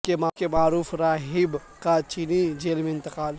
تبت کے معروف راہب کا چینی جیل میں انتقال